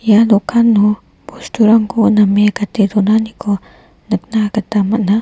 ia dokano bosturangko name gate donaniko nikna gita man·a.